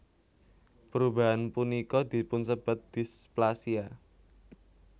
Perubahan punika dipunsebat displasia